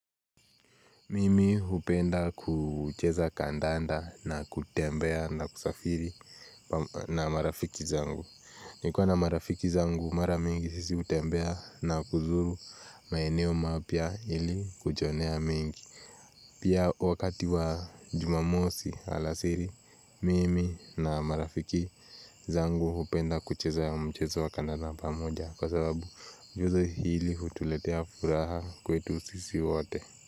Mimi upenda kucheza kadanda na kutembea na kusafiri na marafiki zangu. Nikiwa na marafiki zangu mara mingi sisi utembea na kuzuru maeneo mapya ili kujionea mengi. Pia wakati wa jumamosi alasiri, Mimi na marafiki zangu upenda kucheza mchezo wa kadanda pamoja kwa sababu mchezo hii utuletea furaha kwetu sisi wote.